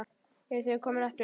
Eruð þið komin aftur?